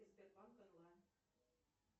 сбербанк онлайн